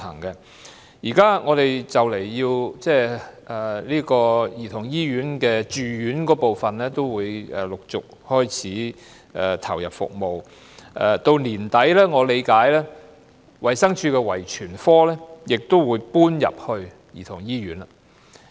現時香港兒童醫院住院部分已陸續投入服務，據我理據，衞生署的遺傳科在年底時也會搬到兒童醫院。